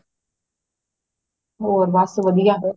ਹੋਰ ਬੱਸ ਵਧੀਆ